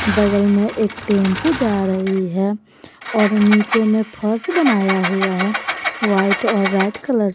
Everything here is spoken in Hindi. बगल में एक टेंपो जा रही है और नीचे में फर्श बनाया हुआ है व्हाइट और रेड कलर --